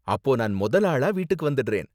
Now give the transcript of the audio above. அப்போ நான் மொத ஆளா வீட்டுக்கு வந்திடுறேன்.